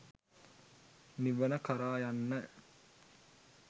නිවන කරා යන්න